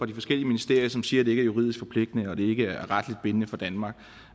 de forskellige ministerier som siger det er juridisk forpligtende og at det ikke retligt bindende for danmark